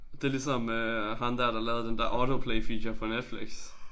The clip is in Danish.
Det ligesom øh ham der der lavede den der auto play feature på Netflix